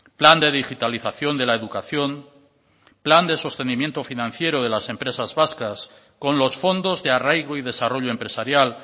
plan de digitalización de la educación plan de sostenimiento financiero de las empresas vascas con los fondos de arraigo y desarrollo empresarial